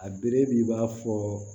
A bere b'i b'a fɔ